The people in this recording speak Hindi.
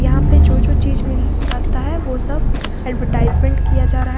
यहां पे जो जो चीज मिलता है वो सब एडवर्टाइजमेंट किया जा रहा है।